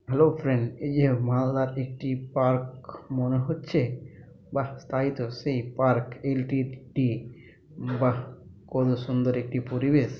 Hello friend এই যে মালদার একটি পার্ক মনে হচ্ছে । বাহ তাই তো সেই পার্ক - টি বাহ কত সুন্দর একটি পরিবেশ।